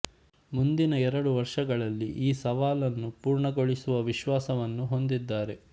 ಮುಂದಿನ ಎರಡು ವರ್ಷಗಳಲ್ಲಿ ಈ ಸವಾಲನ್ನು ಪೂರ್ಣಗೊಳಿಸುವ ವಿಶ್ವಾಸವನ್ನು ಹೊಂದಿದ್ದಾರೆ